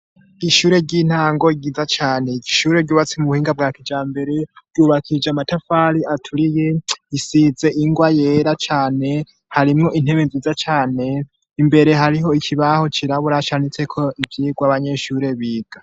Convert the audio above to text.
Ishure ry'intango ryiza cane, ishure ryubatse mu buhinga bwa kijambere ryubakija amatafari aturiye isize ingwa yera cane, harimwo intebe nziza cane imbere hariho ikibaho cirabura canditseko ivyigwa abanyeshure biga.